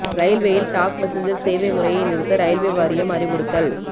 ரயில்வேயில் டாக் மெசஞ்சா்ஸ் சேவை முறையை நிறுத்த ரயில்வே வாரியம் அறிவுறுத்தல்